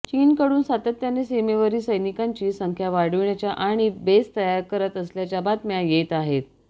चीनकडून सातत्याने सीमेवरील सैनिकांची संख्या वाढविण्याच्या आणि बेस तयार करत असल्याच्या बातम्या येत आहेत